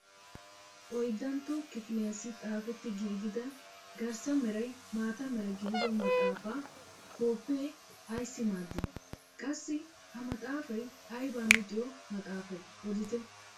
Oyddantto kifiliyaassi xaafetti giigida garssa meray maata mera gidido maxafaa koppee ayssi maaddii? qassi ha maxaafay aybaa luxiyoo maxaafay odite?